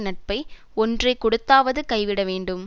நட்பை ஒன்றை கொடுத்தாவது கைவிட வேண்டும்